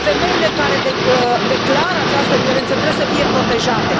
Femeile care declară această violență trebuie să fie protejate.